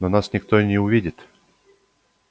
но нас никто и не увидит